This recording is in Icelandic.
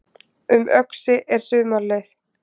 Um Öxi er sumarleið